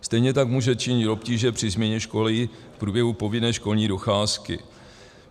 Stejně tak může činit obtíže při změně školy v průběhu povinné školní docházky.